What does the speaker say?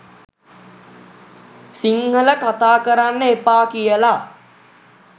සිංහල කතා කරන්න එපා කියලා